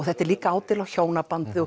þetta er líka ádeila á hjónabandið og